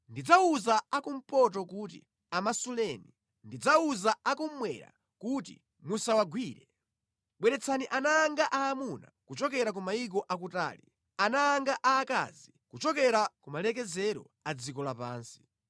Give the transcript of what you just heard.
Ndidzawuza a kumpoto kuti, ‘Amasuleni,’ ndidzawuza akummwera kuti, ‘Musawagwire.’ Bweretsani ana anga aamuna kuchokera ku mayiko akutali, ana anga a akazi kuchokera kumalekezero a dziko lapansi;